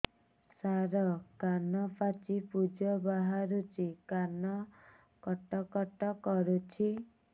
ସାର କାନ ପାଚି ପୂଜ ବାହାରୁଛି କାନ କଟ କଟ କରୁଛି